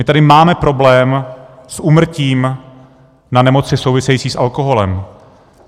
My tady máme problém s úmrtím na nemoci související s alkoholem.